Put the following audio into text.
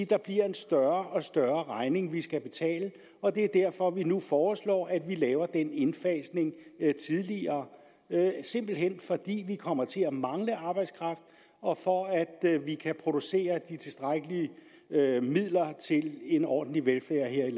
der bliver en større og større regning vi skal betale og det er derfor at vi nu foreslår at vi laver den indfasning tidligere simpelt hen fordi vi kommer til at mangle arbejdskraft og for at vi kan producere de tilstrækkelige midler til en ordentlig velfærd her i